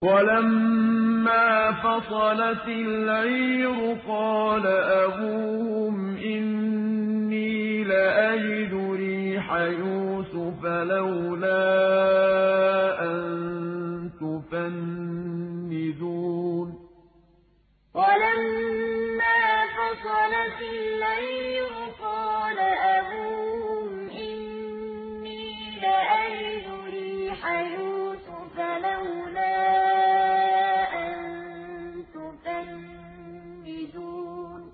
وَلَمَّا فَصَلَتِ الْعِيرُ قَالَ أَبُوهُمْ إِنِّي لَأَجِدُ رِيحَ يُوسُفَ ۖ لَوْلَا أَن تُفَنِّدُونِ وَلَمَّا فَصَلَتِ الْعِيرُ قَالَ أَبُوهُمْ إِنِّي لَأَجِدُ رِيحَ يُوسُفَ ۖ لَوْلَا أَن تُفَنِّدُونِ